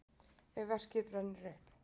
ef verkið brennur upp